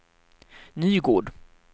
Nygård